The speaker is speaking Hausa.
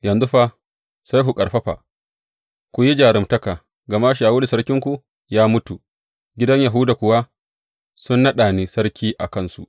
Yanzu fa, sai ku ƙarfafa, ku yi jaruntaka, gama Shawulu sarkinku ya mutu, gidan Yahuda kuwa sun naɗa ni sarki a kansu.